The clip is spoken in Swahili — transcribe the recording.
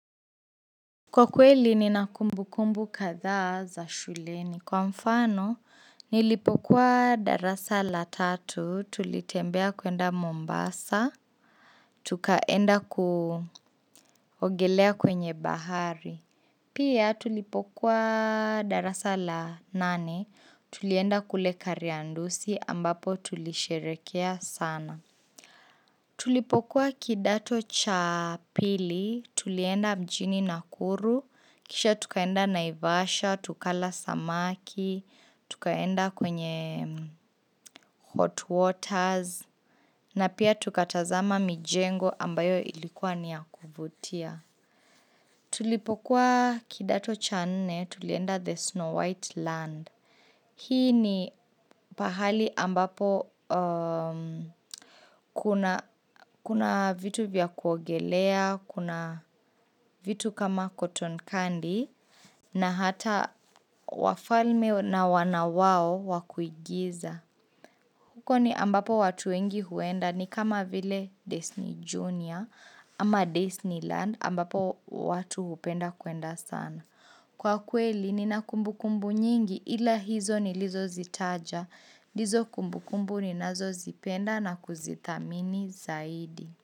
Kwa kweli ni na kumbu kumbu kadhaa za shuleni kwa mfano nilipokuwa darasa la tatu tulitembea kwenda Mombasa tukaenda kuogelea kwenye bahari Pia tulipokuwa darasa la nane tulienda kule kariandusi ambapo tulisherehekea sana Tulipokuwa kidato cha pili, tulienda mjini Nakuru, kisha tukaenda naivasha, tukala samaki, tukaenda kwenye hot waters, na pia tukatazama mijengo ambayo ilikuwa ni ya kuvutia. Tulipokuwa kidato cha nne tulienda the Snow White Land. Hii ni pahali ambapo kuna vitu vya kuogelea, kuna vitu kama cotton candy na hata wafalme na wanawao wakuigiza. Huko ni ambapo watu wengi huenda ni kama vile Disney Junior ama Disneyland ambapo watu hupenda kwenda sana. Kwa kweli ni na kumbu kumbu nyingi ila hizo ni lizo zitaja, ndizo kumbu kumbu ni nazo zipenda na kuzithamini zaidi.